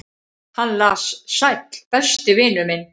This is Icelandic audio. """Hann las: Sæll, besti vinur minn."""